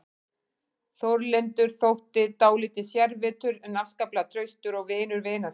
Þórlindur þótti dálítið sérvitur en afskaplega traustur og vinur vina sinna.